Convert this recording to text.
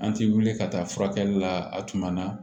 An ti wuli ka taa furakɛli la a tuma na